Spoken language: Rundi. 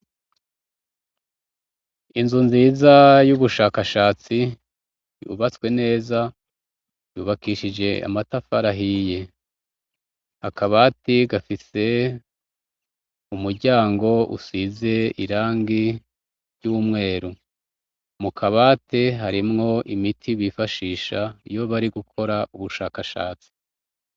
Inzu nziza y'ubushakashatsi ubatswe neza yubakishije amatafarahiye akabati gafise umuryango usize irangi ry'umweru mukabate harimwou imiti bifashisha iyo bari gukora ubushakashatsi.